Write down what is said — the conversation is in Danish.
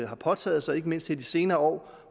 har påtaget sig ikke mindst her i de senere år